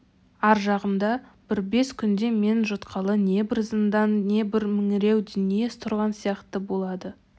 ар жағымда бір бес күнде мен жұтқалы не бір зындан не бір меңіреу дүние тұрған сияқты болады